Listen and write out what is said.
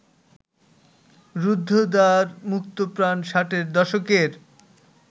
রুদ্ধদ্বার মুক্তপ্রাণ ষাটের দশকের